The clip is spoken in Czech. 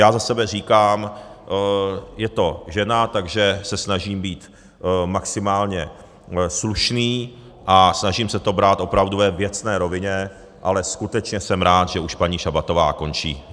Já za sebe říkám, je to žena, takže se snažím být maximálně slušný a snažím se to brát opravdu ve věcné rovině, ale skutečně jsem rád, že už paní Šabatová končí.